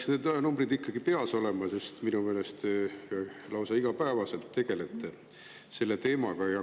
Teil peaksid need numbrid ikkagi peas olema, sest minu meelest te lausa igapäevaselt tegelete selle teemaga.